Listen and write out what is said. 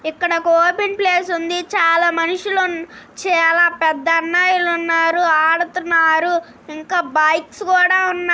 ఇక్కడ open place ఉంది చాలా మనుషులు ఉన్నారు చాలా పెద్ద అన్నయ్య లు ఉన్నారు ఆడుతున్నారు ఇంకా బైక్స్ కూడా ఉన్నా --